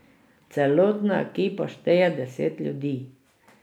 Celotna ekipa šteje deset ljudi.